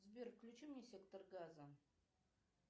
сбер включи мне сектор газа